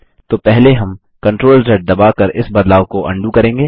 तो पहले हम CTRLZ दबाकर इस बदलाव को अंडू करेंगे